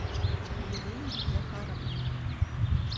елене захаровне